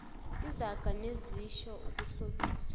izaga nezisho ukuhlobisa